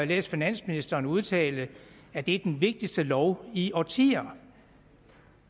læst finansministeren udtale at det er den vigtigste lov i årtier